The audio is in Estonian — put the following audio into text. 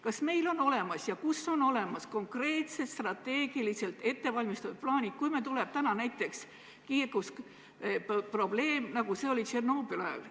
Kas meil on olemas ja kus on olemas konkreetsed strateegilised ettevalmistatud plaanid, kui tuleb näiteks kiirgusprobleem, nagu oli Tšernobõli ajal?